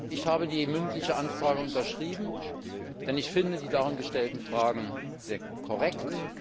Ich habe die mündliche Anfrage unterschrieben, denn ich finde die darin gestellten Fragen sehr korrekt.